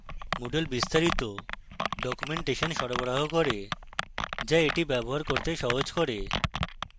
moodle বিস্তারিত documentation সরবরাহ করে যা easy ব্যবহার করতে সহজ করে